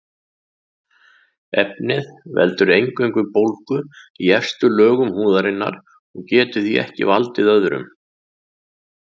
Efnið veldur eingöngu bólgu í efstu lögum húðarinnar og getur því ekki valdið örum.